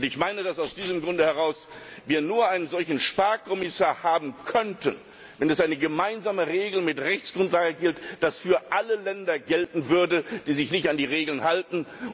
Und ich meine, dass wir aus diesem Grund heraus nur einen solchen Sparkommissar haben könnten, wenn es eine gemeinsame Regel mit Rechtsgrundlage gibt, die für alle Länder gelten würde, die sich nicht an die Regeln halten.